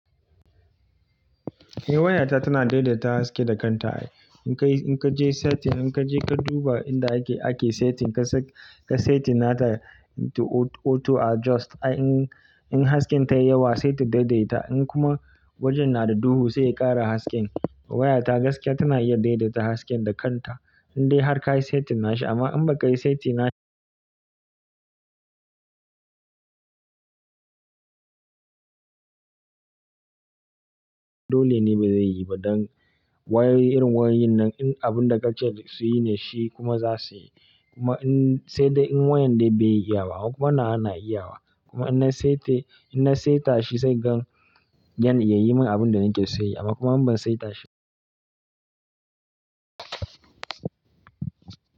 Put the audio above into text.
Eh waya ta tana daidaita haske da kanta. In ka je setting, in ka je ka duba inda ake setting, ka set shi nata auto adjust. In haske ta yi yawa, sai ta daidaita in kuma wajen na da duhu sai ya ƙara haske. Waya ta gaskiya tana iya daidaita haske da kanta, in dai har ka yi setting nashi amma in ba ka yi setting nashi dole ne ba zai yi ba don wayoyi irin wayoyin nan abun da ka ce su yi ne shi kuma za su yi. Kuma in sai dai in wayan dai bai yi iyawa kuma nawa yana iyawa kuma in na setashi na setashi sai gan ya yi mun abun da nake so ya yi amma kuma in ban setashi.